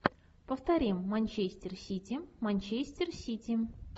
повторим манчестер сити манчестер сити